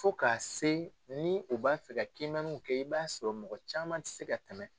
Fo k'a se ni u b'a fɛ ka kiimɛnniw kɛ i b'a sɔrɔ mɔgɔ caman tɛ se ka tɛmɛ.